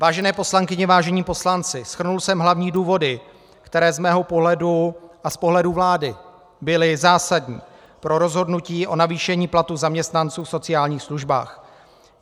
Vážené poslankyně, vážení poslanci, shrnul jsem hlavní důvody, které z mého pohledu a z pohledu vlády byly zásadní pro rozhodnutí o navýšení platů zaměstnanců v sociálních službách.